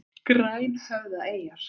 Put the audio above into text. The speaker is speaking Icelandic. Grænhöfðaeyjar